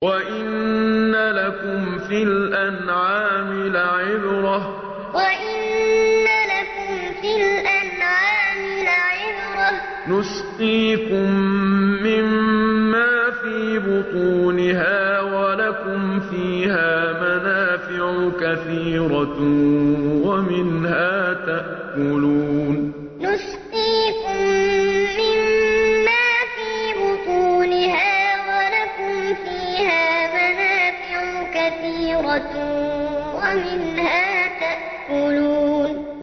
وَإِنَّ لَكُمْ فِي الْأَنْعَامِ لَعِبْرَةً ۖ نُّسْقِيكُم مِّمَّا فِي بُطُونِهَا وَلَكُمْ فِيهَا مَنَافِعُ كَثِيرَةٌ وَمِنْهَا تَأْكُلُونَ وَإِنَّ لَكُمْ فِي الْأَنْعَامِ لَعِبْرَةً ۖ نُّسْقِيكُم مِّمَّا فِي بُطُونِهَا وَلَكُمْ فِيهَا مَنَافِعُ كَثِيرَةٌ وَمِنْهَا تَأْكُلُونَ